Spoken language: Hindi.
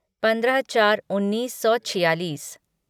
पंद्रह चार उन्नीस सौ छियालीस